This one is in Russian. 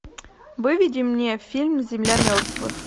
выведи мне фильм земля мертвых